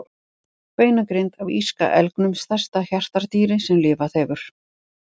Beinagrind af írska elgnum, stærsta hjartardýri sem lifað hefur.